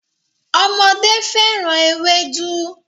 Ọmọdé féràn Ewédú.